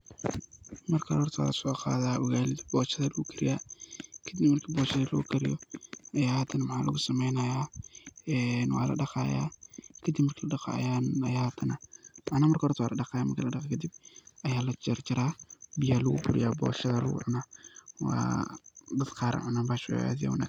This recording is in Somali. Marka hoorta wa soqaatha ugalit booshada lagukariyah kadib marki booshada lagukariyah Aya hadanaah waxa lagu sameeynaya ee waladaqaaya kadib marki ladaqqo handa marki ladaqoo kadib Aya la jarjaraha beeya lagu kariyah booshada lagu cuunah dada Qaar Aya cunah aad iyo aad u wangsantahay .